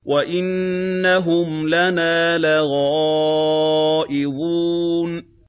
وَإِنَّهُمْ لَنَا لَغَائِظُونَ